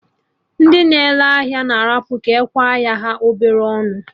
Ndị na-ere ahịa na arapụ ka ekwe ahịa ha obele ọnụ